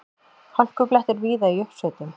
Hálkublettir víða í uppsveitum